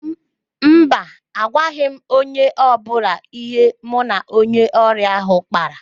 Mba, agwaghị m onye ọbụla ihe mụ na onye ọrịa ahụ kpara